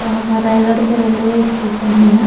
ओह हमर रायगढ़ के रेलवे स्टेशन